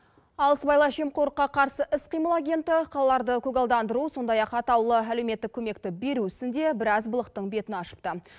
ал сыбайлас жемқорлыққа қарсы іс қимыл агенті қалаларды көгалдандыру сондай ақ атаулы әлеуметтік көмекті беру ісінде біраз былықтың бетін ашыпты